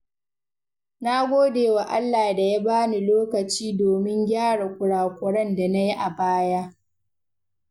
Na gode wa Allah da ya bani lokaci domin gyara kurakuren da na yi a baya.